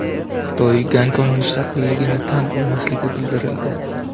Xitoy Gonkong mustaqilligini tan olmasligi bildirildi.